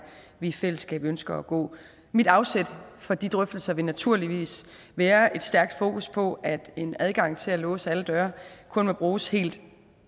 vi i fællesskab ønsker at gå mit afsæt for de drøftelser vil naturligvis være et stærkt fokus på at en adgang til at låse alle døre kun må bruges helt